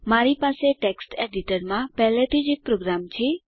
મારી પાસે ટેક્સ્ટ એડીટરમાં પહેલાથી જ એક પ્રોગ્રામ છે